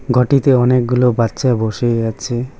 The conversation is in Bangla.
ঘরটিতে অনেকগুলো বাচ্চা বসেই আছে।